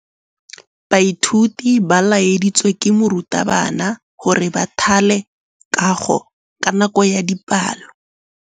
Baithuti ba laeditswe ke morutabana gore ba thale kagô ka nako ya dipalô.